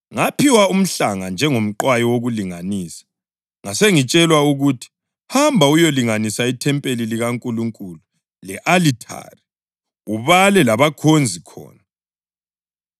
Ngaphiwa umhlanga njengomqwayi wokulinganisa, ngasengitshelwa ukuthi, “Hamba uyelinganisa ithempeli likaNkulunkulu le-alithari, ubale labakhonza khona.